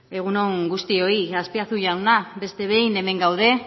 egun on guztioi azpiazu jauna beste behin hemen gaude